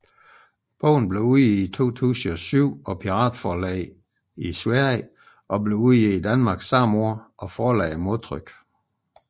Bogen blev udgivet i 2007 af Piratforlaget i Sverige og blev udgivet i Danmark samme år af forlaget Modtryk